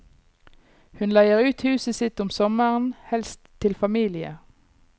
Hun leier ut huset sitt om sommeren, helst til familier.